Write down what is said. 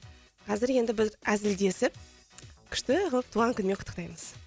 қазір енді біз әзілдесіп күшті қылып туған күнімен құттықтаймыз